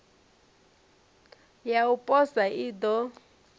ya u posa i ḓo